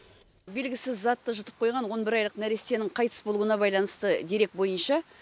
белгісіз затты жұтып қойған он бір айлық нәрестенің қайтыс болуына байланысты дерек бойынша